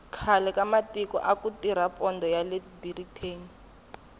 khale ka matiko aku tirha pondho yale biriteni